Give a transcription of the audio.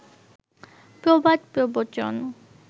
প্রবাদ প্রবচন